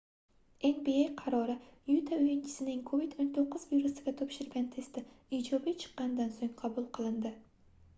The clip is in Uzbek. nba qarori yuta oʻyinchisining covid-19 virusiga topshirgan testi ijobiy chiqqanidan soʻng qabul qilindi